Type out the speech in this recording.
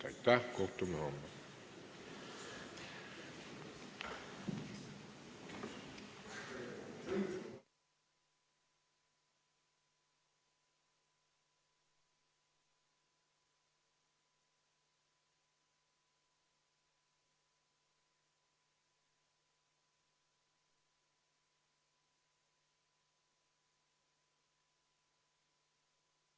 Aitäh!